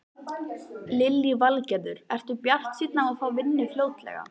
Lillý Valgerður: Ertu bjartsýnn á að fá vinnu fljótlega?